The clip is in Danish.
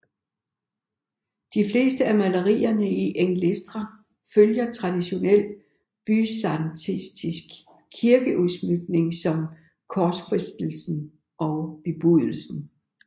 De fleste af malerierne i Engleistra følger traditionel byzantinsk kirkeudsmykning som korsfæstelsen og bebudelsen